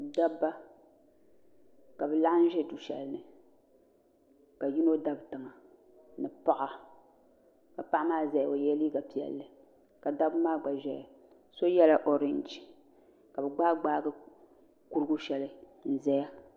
dabba ka bɛ laɣim ʒe du'shɛli ni ka yino dabi tiŋa ni paɣa ka paɣa maa zaya o yela liiga piɛlli ka dabba maa gba ʒeya so yela oriinji ka bɛ gbaaigbaai kurigu shɛli n-zaya